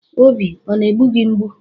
Obi ọ na-egbu gị mgbụ?